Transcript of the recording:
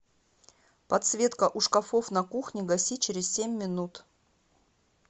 подсветка у шкафов на кухне гаси через семь минут